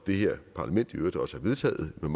det her parlament i øvrigt også har vedtaget med